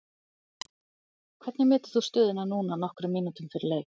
Hvernig metur þú stöðuna núna nokkrum mínútum fyrir leik?